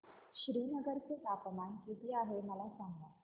श्रीनगर चे तापमान किती आहे मला सांगा